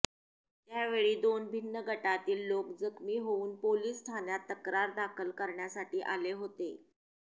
त्यावेळी दोन भिन्न गटातील लोक जखमी होऊन पोलीस ठाण्यात तक्रार दाखल करण्यासाठी आले होते